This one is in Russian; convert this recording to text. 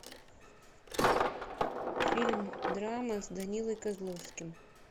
фильм драма с данилой козловским